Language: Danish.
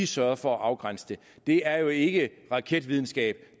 sørget for at afgrænse det det er jo ikke raketvidenskab